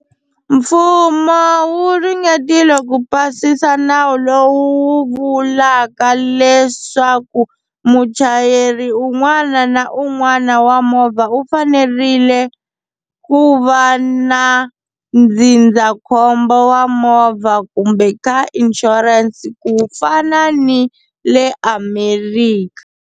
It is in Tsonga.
Mfumo wu ringetile ku pasisa nawu lowu vulaka leswaku muchayeri un'wana na un'wana wa movha u fanerile ku va na ndzindzakhombo wa movha kumbe ka insurance ku fana ni le America.